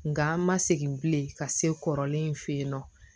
Nga an ma segin bilen ka se kɔrɔlen in fe yen nɔ